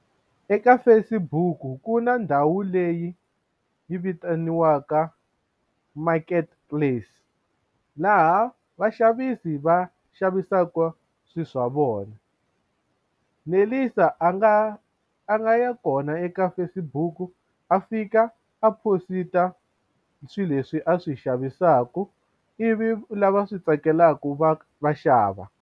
Eka Facebook ku na ndhawu leyi yi vitaniwaka market place laha vaxavisi va xavisaka swilo swa vona Nelisa a nga a nga ya kona eka Facebook a fika a phosita swilo leswi a swi xavisaka ivi lava swi tsakelaka va va xava.